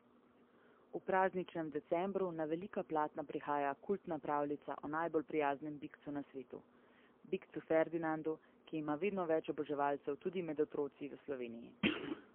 V prazničnem decembru na velika platna prihaja kultna pravljica o najbolj prijaznem bikcu na svetu, bikcu Ferdinandu, ki ima vedno več oboževalcev tudi med otroci v Sloveniji.